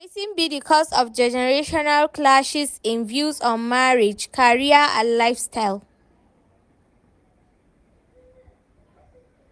Wetin be di cause of generational clashes in views on marriage, career and lifestyle?